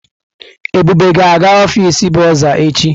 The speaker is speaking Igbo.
Ebube ga-aga ọfịs bọrzà echi.